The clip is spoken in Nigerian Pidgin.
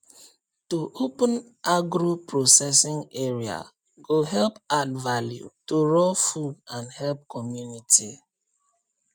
to open agro processing area go help add value to raw food and help community